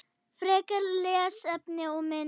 Frekara lesefni og mynd